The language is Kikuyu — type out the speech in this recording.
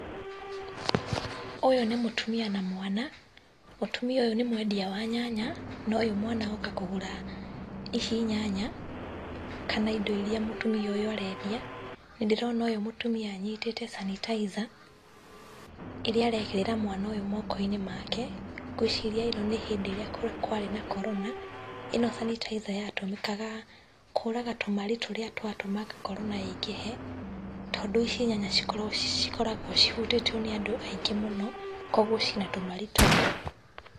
Ũyũ nĩ mũtumia na mwana. Mũtumia ũyũ nĩ mwendia wa nyanya, na ũyũ mwana oka kũgũra ici nyanya, kana indo iria mũtumia ũyũ arendia. Nĩ ndĩrona ũyũ mũtumia anyitĩte sanitizer ĩrĩa arekĩra mwana ũyũ mooko-inĩ make. Ngwĩciria ĩno nĩ hĩndĩ ĩrĩa kwarĩ na Korona. Ĩno sanitizer yatũmĩkaga kũraga tũmarĩ tũrĩa twatũmaga Korona ĩingĩhe tondũ ici nyanya cikoragwo cihutĩtio nĩ andũ aingĩ mũno, koguo ciĩ na tũmarĩ tũu.